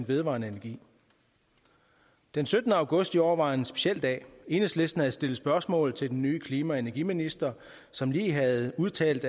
vedvarende energi den syttende august i år var en speciel dag enhedslisten havde stillet spørgsmål til den nye klima og energiminister som lige havde udtalt